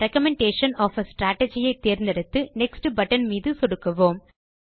recommendation of a strategy ஐ தேர்ந்தெடுத்து next button மீது சொடுக்குவோம்